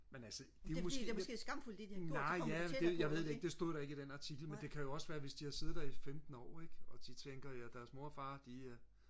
men altså det er jo måske nej ja det jeg ved jeg ved det ikke det stod der ikke i den artikel men det kan jo også være hvis de har siddet der i femten år ikke og de tænker ja deres mor og far de er